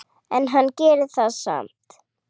En hann gerir það samt.